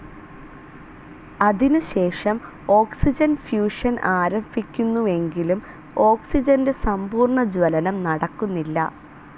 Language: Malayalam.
അതിനുശേഷം ഓക്സിജൻ ഫ്യൂഷൻ ആരഭിക്കുന്നുവെങ്കിലും ഓക്സിജന്റെ സമ്പൂർണജ്വലനം നടക്കുന്നില്ല.